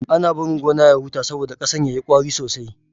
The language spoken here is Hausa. Ana bari gona ya huta saboda ƙasan ya yi ƙwari sosai.